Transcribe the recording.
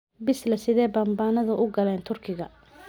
Balse sidee bambaanadu u galeen Turkiga?